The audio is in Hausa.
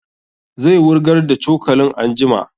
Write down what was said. Zai wurgar da cokalin anjima